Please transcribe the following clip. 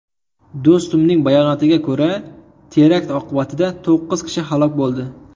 Do‘stumning bayonotiga ko‘ra, terakt oqibatida to‘qqiz kishi halok bo‘ldi .